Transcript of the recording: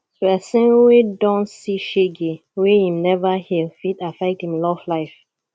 pesin wey don see shege wey im neva heal fit affect im love life